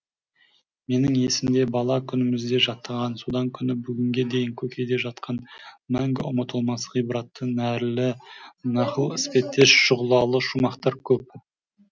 менің есімде бала күнімізде жаттаған содан күні бүгінге дейін көкейде жатқан мәңгі ұмытылмас ғибратты нәрлі нақыл іспеттес шұғылалы шумақтар көп